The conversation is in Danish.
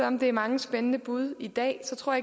om der er mange spændende bud i dag så tror